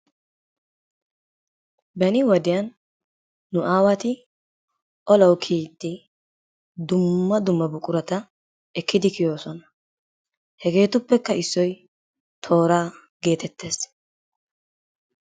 Beni wodiyan nu aawati olawu kiyiidi dumma dumma buqurata ekkidi kiyoososna. hegeetuppekka issoy tooraa geetettees..